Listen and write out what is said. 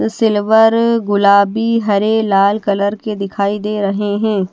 Silver गुलाबी हरे लाल कलर की दिखाई दे रहे है।